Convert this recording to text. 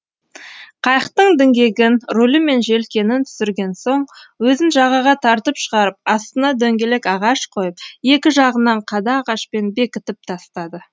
қайықтың діңгегін рулі мен желкенін түсірген соң өзін жағаға тартып шығарып астына дөңгелек ағаш қойып екі жағынан қада ағашпен бекітіп тастады